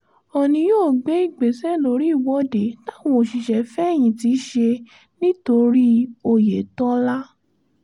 oòní yóò gbé ìgbésẹ̀ lórí ìwọ́de táwọn òṣìṣẹ́-fẹ̀yìntì ṣe nítorí oyètọ́lá